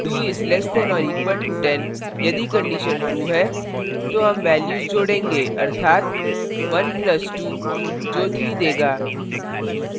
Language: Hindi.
2 is less than or equal to 10 यदि condition true है तो हम values जोड़ेंगे अर्थात 1 plus 2 जो 3 देगा